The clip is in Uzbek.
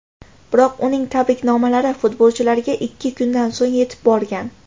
Biroq uning tabriknomalari futbolchilarga ikki kundan so‘ng yetib borgan.